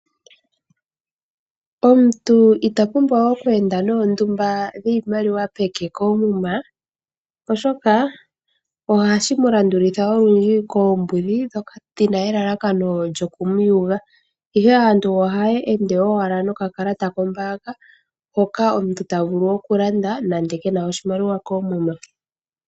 Omuntu ita pumbwa okwenda noondumba dhiimaliwa peke koomuma oshoka ohashim'landulitha olundji koombudhi dhoka dhina elakano lyokumuyuga ihe aantu ohaya ende owala nokakalata kombaanga hoka omuntu tavulu okulanda nande kena oshimaliwa koomuma.